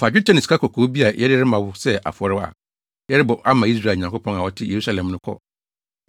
Fa dwetɛ ne sikakɔkɔɔ bi a yɛde rema wo sɛ afɔre a yɛrebɔ ama Israel Nyankopɔn a ɔte Yerusalem no kɔ,